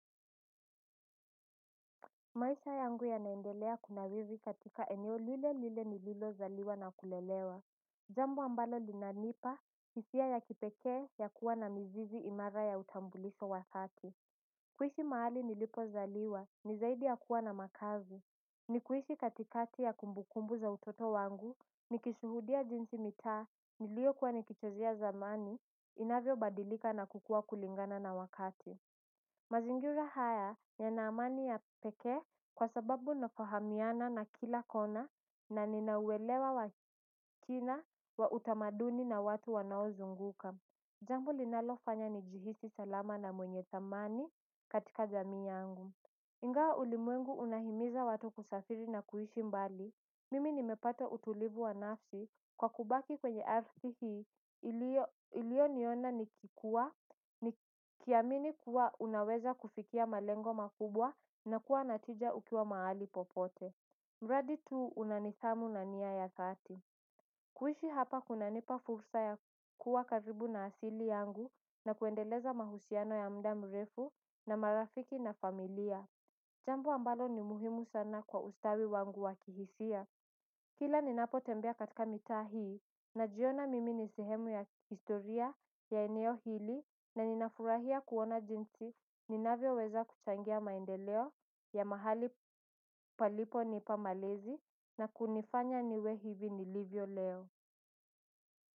Maisha yangu yanaendelea kunawili katika eneo lile lile nililo zaliwa na kulelewa. Zambo ambalo linanipa hisia ya kipekee ya kuwa na mzizi imara ya utambuliko wa sati. Kuishi mahali nilipo zaliwa, nizaidi ya kuwa na makazi. Nikuishi katikati ya kumbukumbu za utoto wangu, nikishuhudia jinsi mitaa nilio kuwa nikichezea zamani, inavyo badilika na kukua kulingana na wakati. Mazingira haya, yana amani ya kipekee, kwa sababu nafahamiana na kila kona na nina uwelewa wakina wa utamaduni na watu wanaozunguka. Jambu linalofanya nijihisi salama na mwenye dhamani, katika jamii yangu. Ingawa ulimwengu unahimiza watu kusafiri na kuhishi mbali, mimi nimepata utulivu wa nafsi, kwa kubaki kwenye ardhi hii, iliyo niona nikikua, nikiamini kuwa unaweza kufikia malengo makubwa na kuwa na tija ukiwa maali popote. Mradi tu una nidhamu na nia ya dhati. Kuishi hapa kunanipa fursa ya kua karibu na asili yangu na kuendeleza mahusiano ya muda mrefu na marafiki na familia. Jambu ambalo ni muhimu sana kwa ustawi wangu wakihisia. Kila ninapo tembea katika mitaa hii, najiona mimi ni sehemu ya historia ya eneo hili, na ninafurahia kuona jinsi ninavyo weza kuchangia maendeleo ya mahali palipo nipa malezi, na kunifanya niwe hivi nilivyo leo.